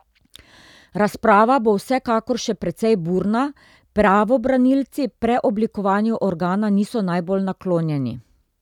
Razprava bo vsekakor še precej burna, pravobranilci preoblikovanju organa niso najbolj naklonjeni.